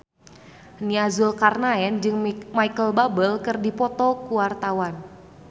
Nia Zulkarnaen jeung Micheal Bubble keur dipoto ku wartawan